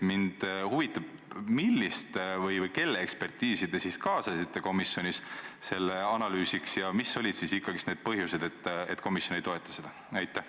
Mind huvitab, millist või kelle ekspertiisi te komisjonis selle analüüsimiseks kaasasite ja mis olid põhjused, et komisjon seda ei toeta.